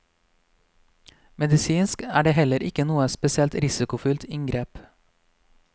Medisinsk er det heller ikke noe spesielt risikofylt inngrep.